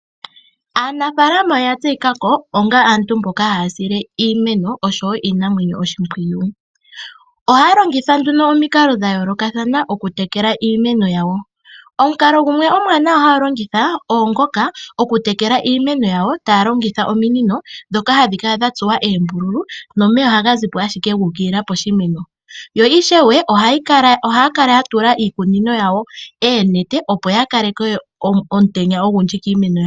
Aanafalama ohaya tseyi kako onga aantu mboka haya sile iimeno osho woo iinamwenyo oshimpwiyu. Ohaya longitha nduno omikalo dha yoolokathana okutekela iimeno yawo. Omukalo gumwe omwaanawa haya lingitha, oongoka okutekela yawo taya longitha ominino ndhoka hadhi kala dha tsuwa eembululu, nomeya ohaga zipo ashike gu ukilila poshimeno. Yo ishewe ohaya kala ya tula iikunino yawo eenete opo ya kaleke omutenya ogundji kiimeno.